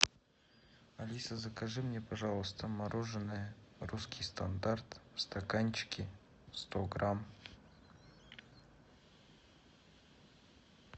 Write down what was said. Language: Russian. алиса закажи мне пожалуйста мороженое русский стандарт в стаканчике сто грамм